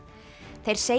þeir segja